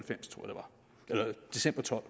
tolv